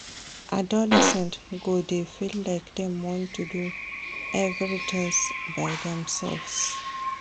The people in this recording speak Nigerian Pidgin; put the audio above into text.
Adolescents go dey feel like dem want do everytins by demselves.